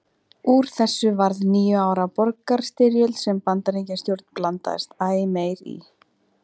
Úr þessu varð níu ára borgarastyrjöld sem Bandaríkjastjórn blandaðist æ meir í.